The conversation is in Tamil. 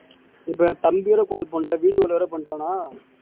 இப்ப என் தம்பியோட call பண்ணிட்டா video வேற பண்ணிட்டானா